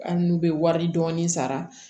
Hali n'u bɛ wari dɔɔni sara